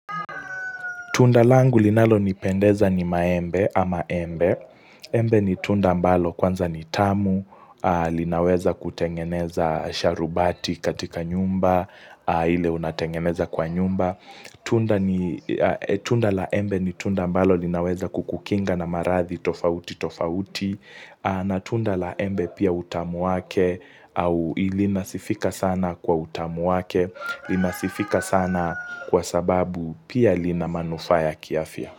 Tunda langu linalo nipendeza ni maembe ama embe. Embe ni tunda mbalo kwanza ni tamu, linaweza kutengeneza sharubati katika nyumba, ile unatengeneza kwa nyumba. Tunda la embe ni tunda mbalo linaweza kukukinga na marathi tofauti tofauti. Na tunda la embe pia utamu wake au ilinasifika sana kwa utamu wake Ilinasifika sana kwa sababu pia illinamanufaa ya kiafia.